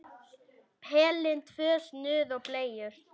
Pelinn, tvö snuð og bleiur.